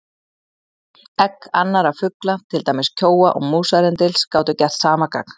Egg annarra fugla, til dæmis kjóa og músarrindils, gátu gert sama gagn.